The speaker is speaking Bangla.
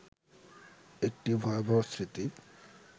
একটি ভয়াবহ স্মৃতি